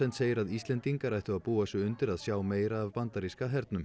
segir að Íslendingar ættu að búa sig undir að sjá meira af bandaríska hernum